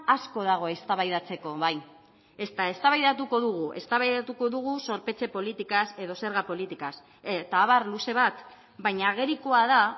asko dago eztabaidatzeko bai eztabaidatuko dugu zorpetze politikaz edo zerga politikaz eta abar luze bat baina agerikoa da